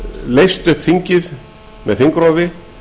leyst upp þingið með þingrofi